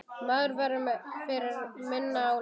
Maður verður fyrir minna álagi.